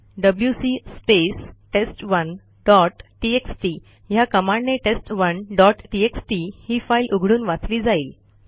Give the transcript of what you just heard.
WC space test one dot TXT ह्या कमांडने test one dot TXT ही फाईल उघडून वाचली जाईल